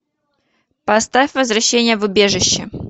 поставь возвращение в убежище